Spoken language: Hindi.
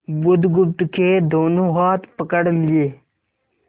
बुधगुप्त के दोनों हाथ पकड़ लिए